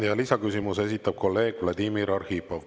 Ja lisaküsimuse esitab kolleeg Vladimir Arhipov.